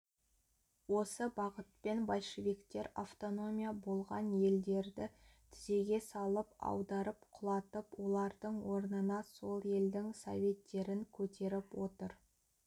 осы бағытпен большевиктер автономия болған елдерді тізеге салып аударып құлатып олардың орнына сол елдің советтерін көтеріп отыр